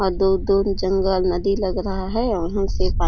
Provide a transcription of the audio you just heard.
और दूर दूर जंगल नदी लग रहा है और वहाँ से पानी --